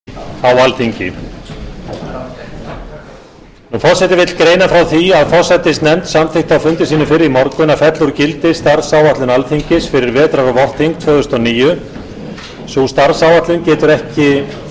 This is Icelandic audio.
forseti vill greina frá því að forsætisnefnd samþykkti á fundi sínum fyrr í morgun að fella úr gildi starfsáætlun alþingis fyrir vetrar og vorþing tvö þúsund og níu sú starfsáætlun getur ekki átt við lengur